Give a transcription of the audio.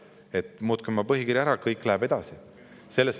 Me ütleme: muutke oma põhikiri ära, kõik läheb edasi.